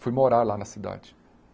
Fui morar lá na cidade.